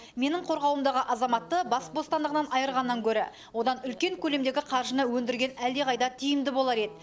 менің қорғауымдағы азаматты бас бостандығынан айырғаннан гөрі одан үлкен көлемдегі қаржыны өндірген әлдеқайда тиімді болар еді